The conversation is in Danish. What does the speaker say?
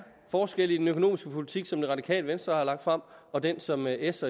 forskel i den økonomiske politik som det radikale venstre har lagt frem og den som s